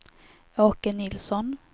Åke Nilsson